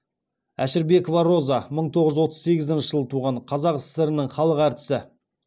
әшірбекова роза мың тоғыз жүз отыз сегізінші жылы туған қазақ сср інің халық әртісі